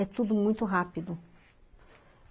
É tudo muito rápido.